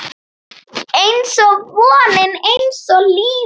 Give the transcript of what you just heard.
Einsog vonin, einsog lífið